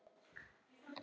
Og á það er minnt.